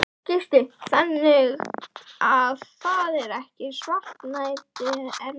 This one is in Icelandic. Gísli: Þannig að það er ekki svartnætti enn þá?